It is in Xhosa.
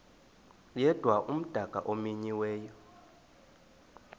yedwa umdaka omenyiweyo